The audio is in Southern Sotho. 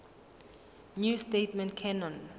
new testament canon